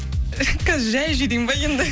қазір жайып жіберейін ба енді